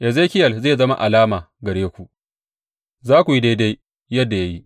Ezekiyel zai zama alama gare ku; za ku yi daidai yadda ya yi.